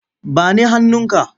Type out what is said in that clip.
Ba ni hannunka!